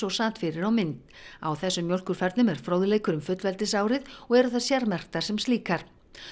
sat fyrir á mynd á þessum mjólkurfernum er fróðleikur um fullveldisárið og eru þær sérmerktar sem slíkar